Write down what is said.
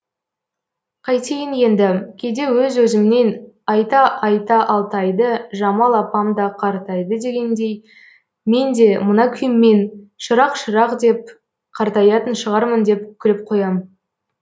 қайтейін енді кейде өз өзімнен айта айта алтайды жамал апам да қартайды дегендей мен де мына күйіммен шырақ шырақ деп қартаятын шығармын деп күліп қоям